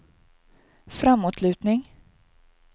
framåtlutning